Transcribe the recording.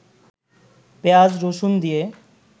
পেঁয়াজ, রসুন দিয়ে